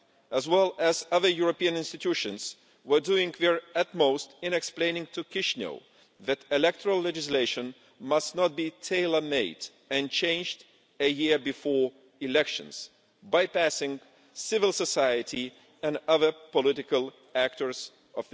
as well as other European institutions, has been doing its utmost to explain to Chișinău that electoral legislation must not be tailor-made and changed a year before elections, bypassing civil society and other political actors in Moldova.